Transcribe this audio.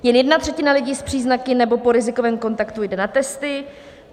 Jen jedna třetina lidí s příznaky nebo po rizikovém kontaktu jde na testy.